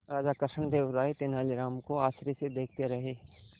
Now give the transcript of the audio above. राजा कृष्णदेव राय तेनालीराम को आश्चर्य से देखते रहे